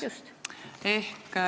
Väiksemaks, just.